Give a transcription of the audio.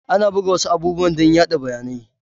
Ana buga wasu abubuwan dan yaɗa bayanai